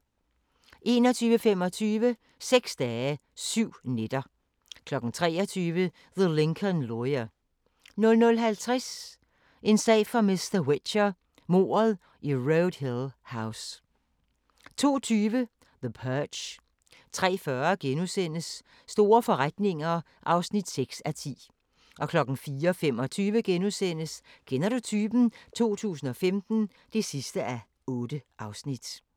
21:25: Seks dage, syv nætter 23:00: The Lincoln Lawyer 00:50: En sag for mr. Whicher: Mordet i Road Hill House 02:20: The Purge 03:40: Store forretninger (6:10)* 04:25: Kender du typen? 2015 (8:8)*